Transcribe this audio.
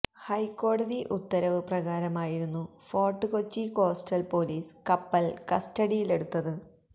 ഹൈക്കോടതി ഉത്തരവ് പ്രകാരമായിരുന്നു ഫോർട്ട് കൊച്ചി കോസ്റ്റൽ പൊലീസ് കപ്പൽ കസ്റ്റഡിയിലെടുത്തത്